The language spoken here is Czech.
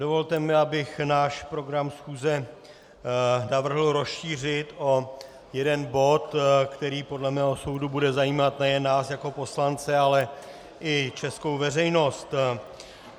Dovolte mi, abych náš program schůze navrhl rozšířit o jeden bod, který podle mého soudu bude zajímat nejen nás jako poslance, ale i českou veřejnost.